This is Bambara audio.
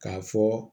K'a fɔ